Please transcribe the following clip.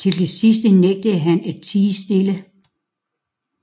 Til det sidste nægtede han at tie stille